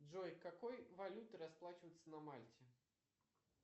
джой какой валютой расплачиваются на мальте